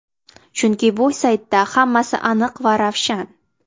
Chunki bu saytda hammasi aniq va ravshan.